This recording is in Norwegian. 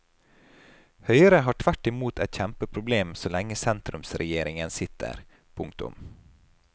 Høyre har tvert imot et kjempeproblem så lenge sentrumsregjeringen sitter. punktum